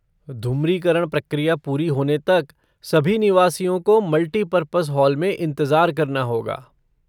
ध्रुमीकरण प्रक्रिया पूरी होने तक सभी निवासियों को मल्टीपर्पस हॉल में इंतजार करना होगा।